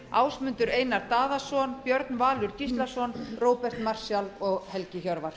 ásmundur einar daðason björn valur gíslason róbert marshall og helgi hjörvar